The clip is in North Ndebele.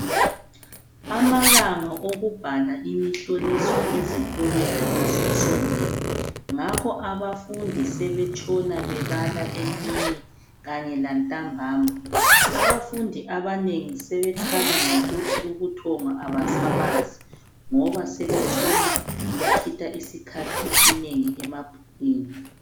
Amalanga okubhala imihloliso ezikolweni asesondele, ngakho abafundi sebetshona bebala emini kanye lantambama. Abafundi abanengi sebekhala ngokuthi ubuthongo abasabazi ngoba sebetshona bechitha isikhathi esinengi emabhukwini.